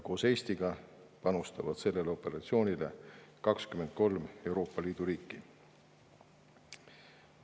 Koos Eestiga panustavad sellesse operatsiooni 23 Euroopa Liidu riiki.